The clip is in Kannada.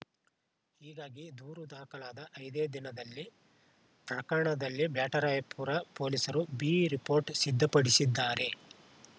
ಹೀಗಾಗಿ ದೂರು ದಾಖಲಾದ ಐದೇ ದಿನದಲ್ಲಿ ಪ್ರಕರಣದಲ್ಲಿ ಬ್ಯಾಟರಾಯಪುರ ಪೊಲೀಸರು ಬಿರಿಪೋರ್ಟ್‌ ಸಿದ್ಧಪಡಿಸಿದ್ದಾರೆ